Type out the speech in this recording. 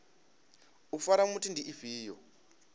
u fara muthu ndi ifhio